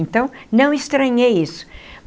Então, não estranhei isso.